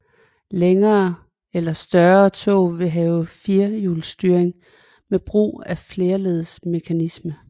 Længere eller større tog vil have firehjulsstyring med brug af flerledsmekanisme